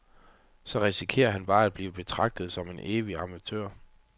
Så risikerer han bare at blive betragtet som en evig amatør.